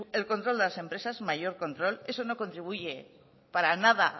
es el control de las empresas mayor control eso no contribuye para nada